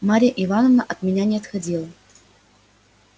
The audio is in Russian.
марья ивановна от меня не отходила